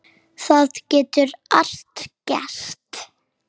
Það getur allt gerst.